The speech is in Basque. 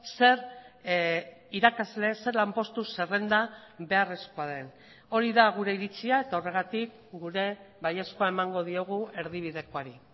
zer irakasle zer lanpostu zerrenda beharrezkoa den hori da gure iritzia eta horregatik gure baiezkoa emango diogu erdibidekoari